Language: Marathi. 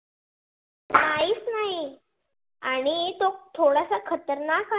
आणि तो थोडासा खतरनाक आ